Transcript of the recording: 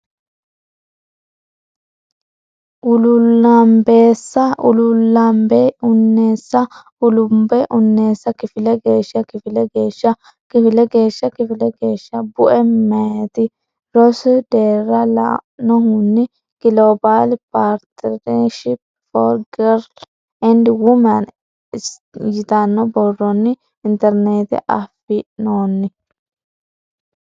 ululanbnbeeasl ullabbal unnees ullabbal unnees kifile geeshsha kifile geeshsha kifile geeshsha kifile geeshsha Bue Meyati rosi deerra la nohunni Global Partnership for Girls and Women s yitanno borronni Internetetenni afi noonni.